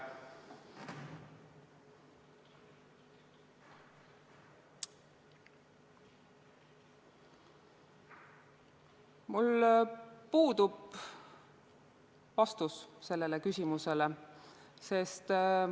Mul puudub vastus sellele küsimusele.